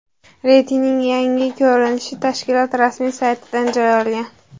Reytingning yangi ko‘rinishi tashkilot rasmiy saytidan joy olgan .